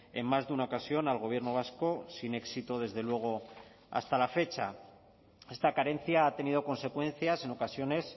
en más de una ocasión al gobierno vasco sin éxito desde luego hasta la fecha esta carencia ha tenido consecuencias en ocasiones